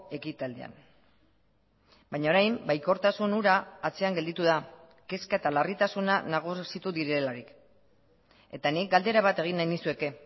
ekitaldian baina orain baikortasun hura atzean gelditu da kezka eta larritasuna nagusitu direlarik eta nik galdera bat egin nahi nizueke